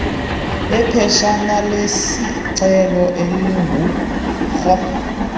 iphetshanalesicelo elingu ro